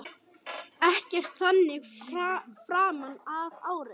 Ekkert þannig framan af ári.